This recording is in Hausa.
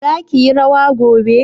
zaki yi rawa gobe?